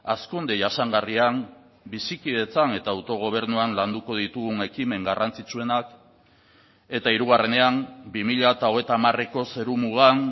hazkunde jasangarrian bizikidetzan eta autogobernuan landuko ditugun ekimen garrantzitsuenak eta hirugarrenean bi mila hogeita hamareko zerumugan